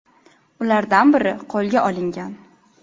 Ulardan biri qo‘lga olingan.